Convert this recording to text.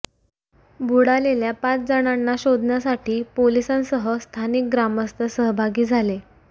बुडालेल्या पाच जणांना शोधण्यासाठी पोलिसांसह स्थानिक ग्रामस्थ सहभागी झाले